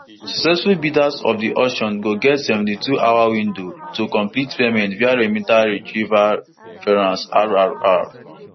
successful bidders of di auction go get seventy-twohour window to complete payment via remita retrieval reference rrr